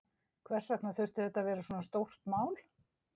Hvers vegna þurfti þetta að vera svona stórt mál?